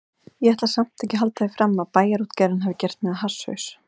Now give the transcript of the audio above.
Ég ætla samt ekki að halda því fram að Bæjarútgerðin hafi gert mig að hasshaus.